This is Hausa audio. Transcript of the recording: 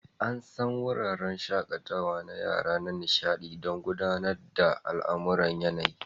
An san wuraren shakatawa na yara na nishaɗi don gudanar da al'amuran yanayi.